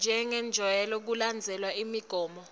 jengobe kulandzelwe imigomo